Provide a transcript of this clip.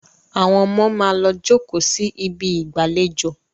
Àwón omo má lọ jókó sí Ibi ìgbàlejò.